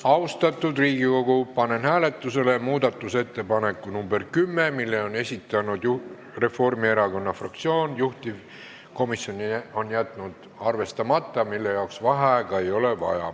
Austatud Riigikogu, panen hääletusele muudatusettepaneku nr 10, mille on esitanud Reformierakonna fraktsioon, juhtivkomisjon on jätnud arvestamata ja mille jaoks vaheaega ei ole vaja.